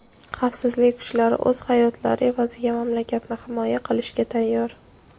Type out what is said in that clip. xavfsizlik kuchlari o‘z hayotlari evaziga mamlakatni himoya qilishga tayyor.